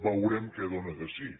veurem què dóna de si